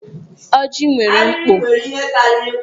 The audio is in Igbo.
Ọjị nwere mkpo.